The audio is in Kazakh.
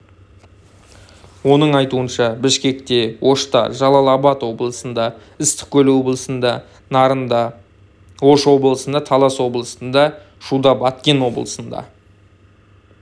оның айтуынша бішкекте ошта жалал-абад облысында ыстықкөл облысында нарында ош облысында талас облысында шуда баткен облысында